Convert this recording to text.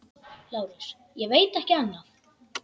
LÁRUS: Ég veit ekki annað.